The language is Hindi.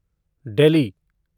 डेल्ही